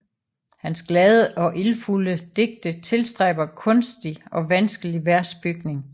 Hans glade og ildfulde digte tilstræber kunstig og vanskelig versbygning